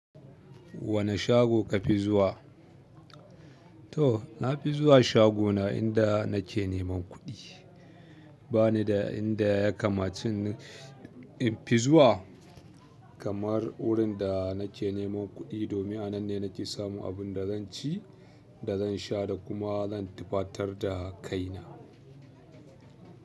Wane shago ka fi zuwa? To, nafi zuwa shagona inda nake neman kuɗi ba ni da inda ya kamaci in fi zuwa kamar wurin da nake neman kuɗi domin a nan ne nake samun abinda zan ci, da zan sha da kuma zan tufatar da kaina.